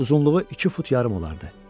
Uzunluğu iki fut yarım olardı.